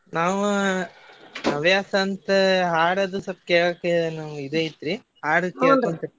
ನಾವ್ ಹವ್ಯಾಸ ಅಂತ ಹಾಡದು ಸ್ವಲ್ಪ ಕೇಳ್ತೇವೆ ನಮ್ಗ್ ಇದೈತ್ರಿ .